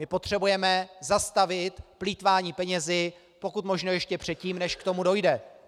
My potřebujeme zastavit plýtvání penězi pokud možno ještě předtím, než k tomu dojde.